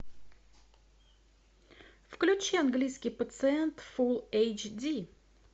включи английский пациент фул эйч ди